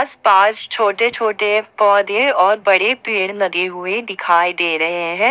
इस पास छोटे छोटे पौधे और बड़े पेड़ लगे हुए दिखाई दे रहे हैं।